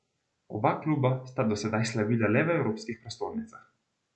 Oba kluba sta do zdaj slavila le v evropskih prestolnicah.